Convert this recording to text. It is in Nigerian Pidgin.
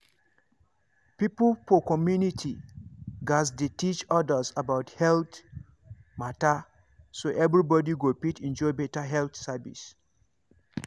people for community gatz dey teach others about health matter so everybody go fit enjoy better health service.